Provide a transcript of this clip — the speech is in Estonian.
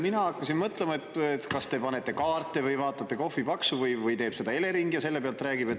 Mina hakkasin mõtlema, et kas te panete kaarte või vaatate kohvipaksu pealt või teeb seda Elering ja selle põhjal räägib.